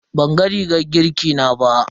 Banga rigar girki na ba.